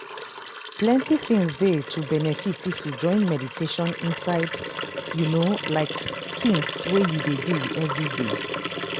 plenty things dey to benefit if you join meditation inside you know like tins wey you dey do everyday.